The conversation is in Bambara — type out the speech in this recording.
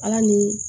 Ala ni